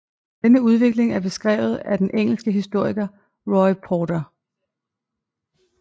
Denne udvikling er beskrevet af den engelske historiker Roy Porter